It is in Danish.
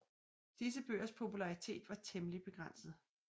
Disse bøgers popularitet var temmelig begrænset